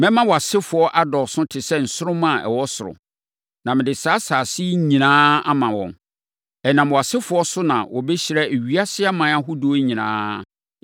Mɛma wʼasefoɔ adɔɔso te sɛ nsoromma a ɛwɔ soro, na mede saa nsase yi nyinaa ama wɔn. Ɛnam wʼasefoɔ so na wɔbɛhyira ewiase aman ahodoɔ nyinaa.